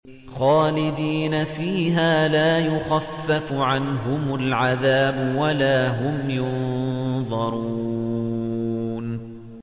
خَالِدِينَ فِيهَا ۖ لَا يُخَفَّفُ عَنْهُمُ الْعَذَابُ وَلَا هُمْ يُنظَرُونَ